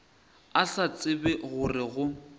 a sa tsebe gore go